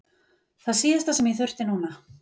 Það síðasta sem ég þurfti núna!